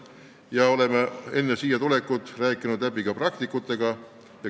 Enne siia tulekut oleme asjad läbi rääkinud ka praktikutega.